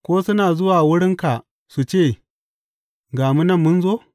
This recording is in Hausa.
Ko suna zuwa wurinka su ce, Ga mu nan mun zo?’